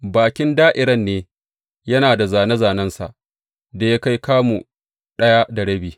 Bakin da’irar ne, yana da zāne zānensa da ya kai kamu ɗaya da rabi.